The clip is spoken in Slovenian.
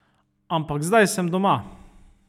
Ampak zdaj sem doma.